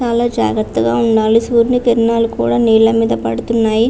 చాలా జాగ్రత్తగా వుండాలి సురియని కిరణాలూ కూడా నీల మీద పడుతున్నాయ్.